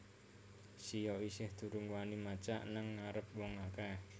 Sia isih durung wani macak nang ngarep wong akeh